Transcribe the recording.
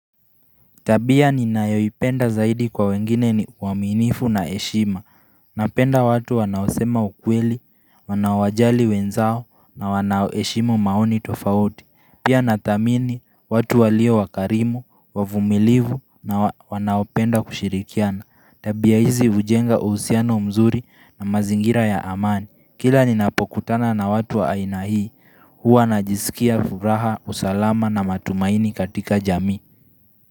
Tabia ni nayoipenda zaidi kwa wengine ni uaminifu na heshima Napenda watu wanaosema ukweli, wanawojali wenzao na wana heshimu maoni tofauti Pia nathamini watu walio wakarimu, wavumilivu na wanaopenda kushirikiana Tabia hizi ujenga uhusiano mzuri na mazingira ya amani Kila ni napokutana na watu wa aina hii, huwa najisikia furaha, usalama na matumaini katika jamii.